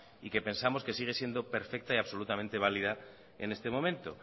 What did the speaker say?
y que pensamos que sigue siendo perfecta y absolutamente válida en este momento